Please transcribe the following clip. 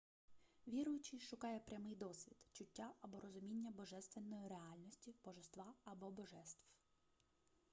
віруючий шукає прямий досвід чуття або розуміння божественної реальності/божества або божеств